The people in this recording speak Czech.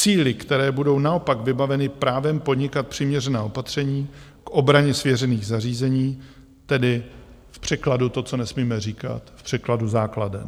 Síly, které budou naopak vybaveny právem podnikat přiměřená opatření k obraně svěřených zařízení, tedy v překladu, to, co nesmíme říkat - v překladu základen.